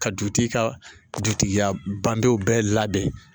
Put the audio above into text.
Ka dutigi ka dutigiya bangew bɛɛ labɛn